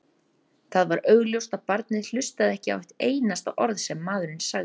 Það var augljóst að barnið hlustaði ekki á eitt einasta orð sem maðurinn sagði.